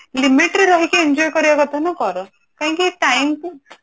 limit ରେ ରହିକି enjoy କରିବା କଥା କର କାହିଁକି time